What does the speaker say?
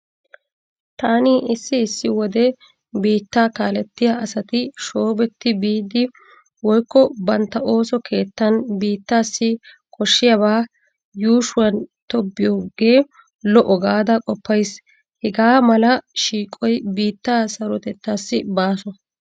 Taani issi issi wode biittaa kaalettiya asati shoobetti biidi woykko bantta ooso keettan biittaasi koshshiyaabaa yuushuwani tobbiyoogee lo'o gaada qoppayis. Hegaa mala shiiqoyi biittaa sarotettaassi baaso.